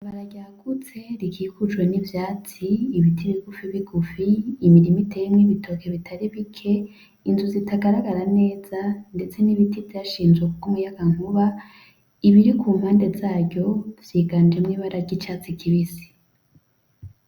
Ibarabara ryagutse rikikujwe n'ivyatsi, ibiti bigufi bigufi, imirima iteyemwo ibitoki bitari bike, inzu zitagaragara neza ndetse n'ibiti vyanshinzwe kubw'umuyaga nkuba, ibiri kumpande zaryo vyiganjemw' ibara ry'icatsi kibisi.